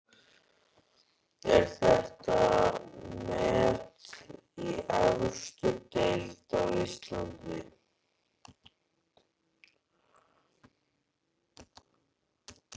Er þetta met í efstu deild á Íslandi?